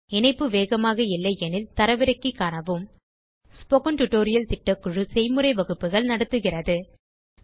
இணைப்பு வேகமாக இல்லையெனில் தரவிறக்கி காணவும் ஸ்போக்கன் டியூட்டோரியல் திட்டக்குழு ஸ்போக்கன் tutorial களைப் பயன்படுத்தி செய்முறை வகுப்புகள் நடத்துகிறது